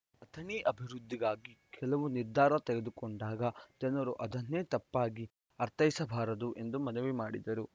ಅಥಣಿ ಅಭಿವೃದ್ಧಿಗಾಗಿ ಕೆಲವು ನಿರ್ಧಾರ ತೆಗೆದುಕೊಂಡಾಗ ಜನರು ಅದನ್ನೇ ತಪ್ಪಾಗಿ ಅರ್ಥೈಸಬಾರದು ಎಂದು ಮನವಿ ಮಾಡಿದರು